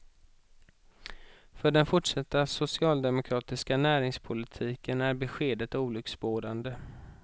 För den fortsatta socialdemokratiska näringspolitiken är beskedet olycksbådande.